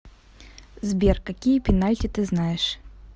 сбер какие пенальти ты знаешь